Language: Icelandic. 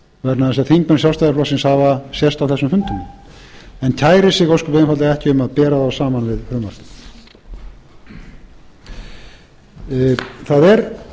vegna þess að þingmenn sjálfstæðisflokksins hafa sést á þessum fundum en kæri sig ósköp einfaldlega ekkert um að bera þá saman við frumvarpið það er